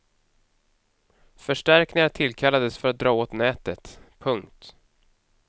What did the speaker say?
Förstärkningar tillkallades för att dra åt nätet. punkt